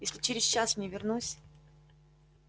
если через час не вернусь